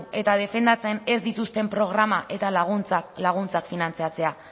eta defendatzen ez dituzten programak eta laguntzak finantzatzea